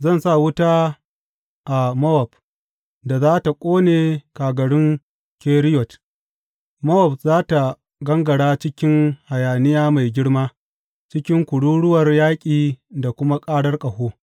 Zan sa wuta a Mowab da za tă ƙone kagarun Keriyot Mowab za tă gangara cikin hayaniya mai girma cikin kururuwar yaƙi da kuma ƙarar ƙaho.